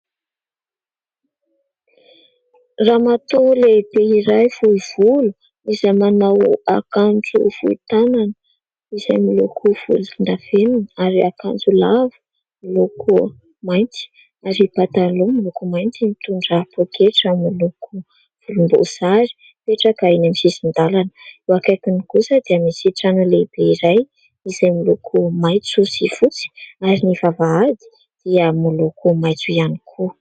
Ramatoa lehibe iray fohy volo izay manao akanjo fohy tanana izay miloko volondavenona ary akanjo lava miloko mainty ary pataloha miloko mainty, mitondra pôketra miloko volomboasary, mipetraka eny amin'ny sisin-dalana. Eo akaikiny kosa dia misy trano lehibe iray izay miloko maitso sy fotsy ary ny vavahady dia miloko maitso ihany koa.